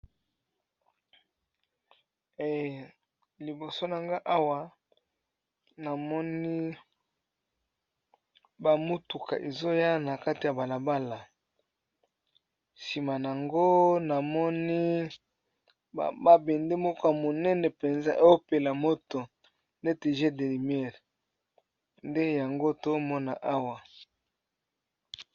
Awa liboso na nga awa namoni bamutuka ezoya na kati ya balabala nsima yango namoni babende moka monene mpenza eopela moto nete g derimiere nde yango to mona awa.